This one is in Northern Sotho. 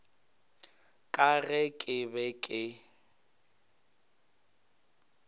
ka ge ke be ke